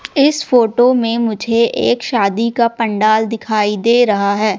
इस फोटो में मुझे एक शादी का पंडाल दिखाई दे रहा है।